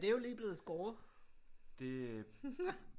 Ja det er jo lige blevet skåret